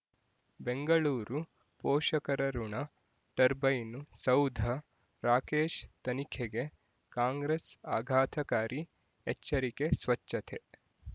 ಬೆಂಗಳೂರು ಪೋಷಕರಋಣ ಟರ್ಬೈನು ಸೌಧ ರಾಕೇಶ್ ತನಿಖೆಗೆ ಕಾಂಗ್ರೆಸ್ ಆಘಾತಕಾರಿ ಎಚ್ಚರಿಕೆ ಸ್ವಚ್ಛತೆ